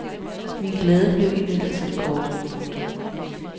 Min glæde blev imidlertid kort. punktum